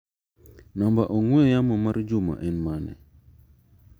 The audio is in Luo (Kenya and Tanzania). Namba ong'ue yamo mar Juma en mane?